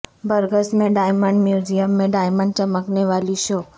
Briggs میں diamond museum میں diamond چمکنے والی شو